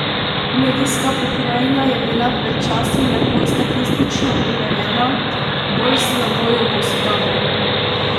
Medijska pokrajina je bila pred časom lepo statistično urejena, bolj slabo jo posodabljajo.